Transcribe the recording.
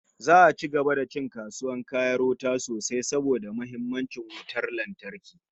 Za'a ci gaba da ci kasuwar kayan wuta sosai saboda muhimmancin wutar lantarki